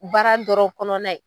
Baara dɔrɔn kɔnɔna ye